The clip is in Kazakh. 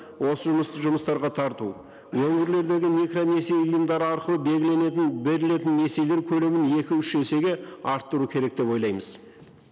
осы жұмыстарға тарту өңірлердегі микронесие ұйымдары арқылы белгіленетін берілетін несиелер көлемін екі үш есеге арттыру керек деп ойлаймыз